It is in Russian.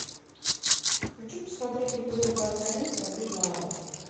хочу посмотреть эпизод двадцать один сорвиголова